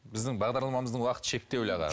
біздің бағдарламамыздың уақыты шектеулі аға